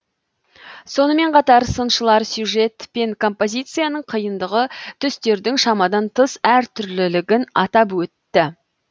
сонымен қатар сыншылар сюжет пен композицияның қиындығы түстердің шамадан тыс әртүрлілігін атап өтті